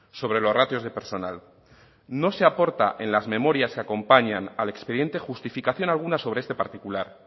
sobre los ratios de personal no se aporta en las memorias que acompañan al expediente justificación alguna sobre este particular